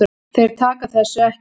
Þeir taka þessu ekki.